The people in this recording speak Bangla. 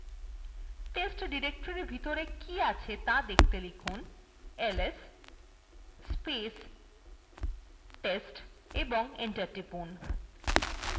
test ডিরেক্টরির ভিতরে কী আছে ত়া দেখতে লিখুন ls এবং enter টিপুন